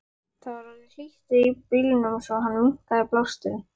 Það var orðið hlýtt í bílnum svo hann minnkaði blásturinn.